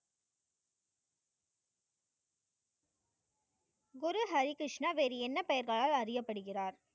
குரு ஹரி கிருஷ்ணா வேறு என்ன பெயர்களால் அறியப்படுகிறார்?